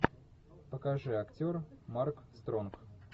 покажи актер марк стронг